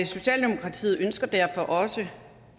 socialdemokratiet ønsker derfor også